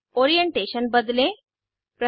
orientation बदलें 3